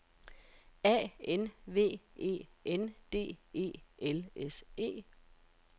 A N V E N D E L S E